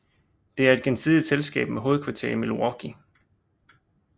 Det er et gensidigt selskab med hovedkvarter i Milwaukee